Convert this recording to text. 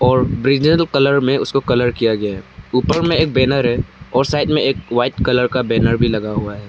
और brinjal colour में उसको कलर किया गया ऊपर में एक बैनर है और साइड में एक व्हाइट कलर का बैनर भी लगा हुआ है।